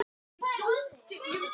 Já, og svo.